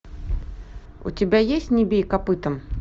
у тебя есть не бей копытом